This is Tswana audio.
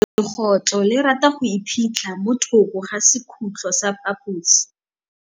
Legôtlô le rata go iphitlha mo thokô ga sekhutlo sa phaposi.